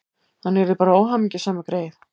Hann yrði bara óhamingjusamur, greyið.